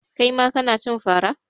Kai ma kana cin fara?